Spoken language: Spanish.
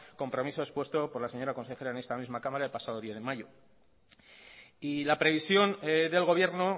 compromiso expuesto por la señora consejera en esta misma cámara el pasado diez de mayo y la previsión del gobierno